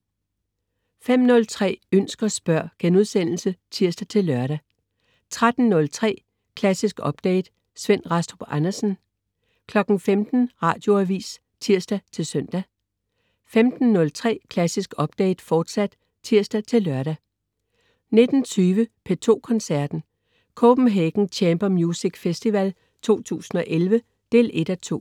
05.03 Ønsk og spørg* (tirs-lør) 13.03 Klassisk Update. Svend Rastrup Andersen 15.00 Radioavis (tirs-søn) 15.03 Klassisk Update, fortsat (tirs-lør) 19.20 P2 Koncerten. Copenhagen Chamber Music Festival 2011 1:2.